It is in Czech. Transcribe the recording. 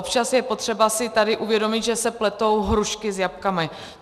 Občas je potřeba si tady uvědomit, že se pletou hrušky s jablky.